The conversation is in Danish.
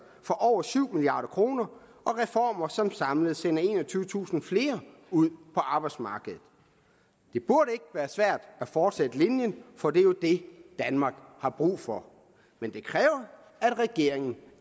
for over syv milliard kroner og reformer som samlet sender enogtyvetusind flere ud på arbejdsmarkedet det burde ikke være svært at fortsætte linjen for det er jo det danmark har brug for men det kræver at regeringen